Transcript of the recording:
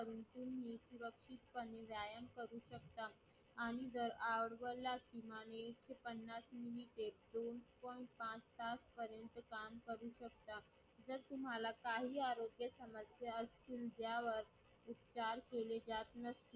आणि जर आपल्या पन्नास मिनिटे दोन point पाच तासापर्यंत काम करू शकता जर तुम्हाला काही आजार समजले असतील त्यावर काही उपचार केले जात नसतील